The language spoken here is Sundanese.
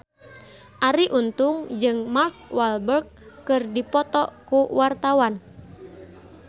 Arie Untung jeung Mark Walberg keur dipoto ku wartawan